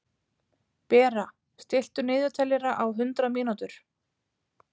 Bera, stilltu niðurteljara á hundrað mínútur.